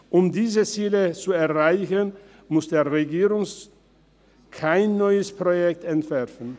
Um diese Ziele zu erreichen, muss der Regierungsrat kein neues Projekt entwerfen.